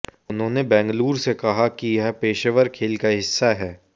उन्होंने बेंगलूर से कहा कि यह पेशेवर खेल का हिस्सा है